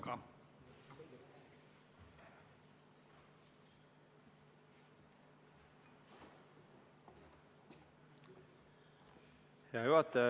Hea juhataja!